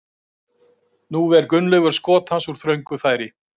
Nú er Gunnleifur skot hans úr þröngu færi.